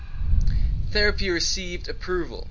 therapy received approval